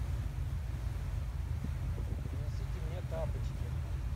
принесите мне тапочки